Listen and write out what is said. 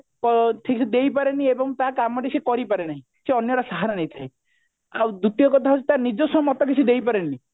ଠିକ ସେ ଦେଇ ପାରେନି ଏବଂ ତା କାମ ଟି ସେ କରି ପାରେନାହିଁ ସେ ଅନ୍ୟର ସାହାରା ନେଇଥାଏ ଆଉ ଦ୍ଵିତୀୟ କଥା ହଉଛି ତା ନିଜସ୍ଵ ମତ କିଛି ଦେଇପାରେନି